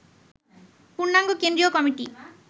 পূর্ণাঙ্গ কেন্দ্রীয় কমিটি